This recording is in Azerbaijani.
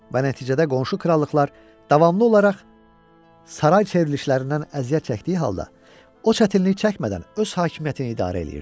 Və nəticədə qonşu krallıqlar davamlı olaraq saray çevrilişlərindən əziyyət çəkdiyi halda, o çətinlik çəkmədən öz hakimiyyətini idarə edirdi.